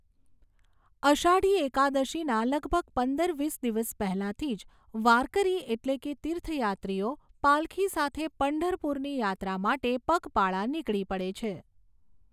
અષાઢી એકાદશીના લગભગ પંદર વીસ દિવસ પહેલાથી જ વાર્કરી એટલે કે તીર્થયાત્રીઓ પાલખી સાથે પંઢરપુરની યાત્રા માટે પગપાળા નીકળી પડે છે.